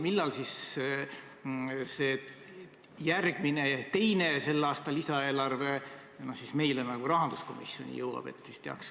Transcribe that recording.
Millal see teine tänavune lisaeelarve meile rahanduskomisjoni jõuab?